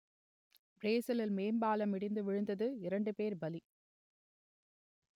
பிரேசிலில் மேம்பாலம் இடிந்து விழுந்ததில் இரண்டு பேர் பலி